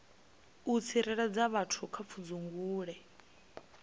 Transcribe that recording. u tsireledza vhathu kha pfudzungule